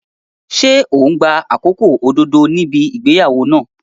Ṣé ò ń gba àkókò òdodo níbi ìgbéyàwó náà?